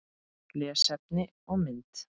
Lesefni og mynd